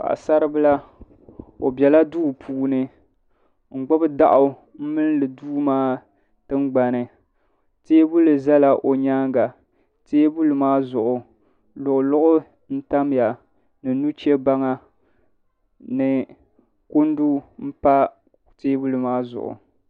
Paɣisaribila o bela duu puuni n-gbubi daɣu m-mindi duu maa tingbani teebuli zala o nyaaŋa teebuli maa zuɣu luɣuluɣu n-tamya ni nuchebaŋa ni kundu m-pa teebuli maa zuɣu.